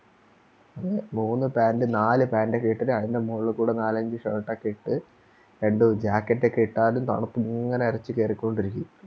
മൂന്ന് Pant നാല് Pant ഓക്കേ ഇട്ടിട് അതിൻറെ മോളിക്കൂടെ നാലഞ്ച് Shirt ഒക്കെ ഇട്ട് എന്ത് Jacket ഒക്കെ ഇട്ടാലും തണുപ്പിങ്ങനെ എരച്ച് കേറിക്കൊണ്ടിരിക്കും